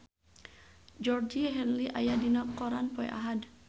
Georgie Henley aya dina koran poe Ahad